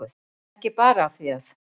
Ekki bara af því að